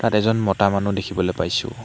ইয়াত এজন মতা মানুহ দেখিবলৈ পাইছোঁ।